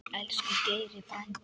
Elsku Geiri frændi.